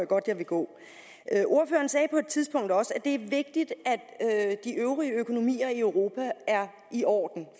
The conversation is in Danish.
godt jeg vil gå ordføreren sagde på et tidspunkt også at det er vigtigt at de øvrige økonomier i europa er i orden